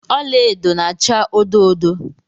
Ọla edo na-acha odo odo.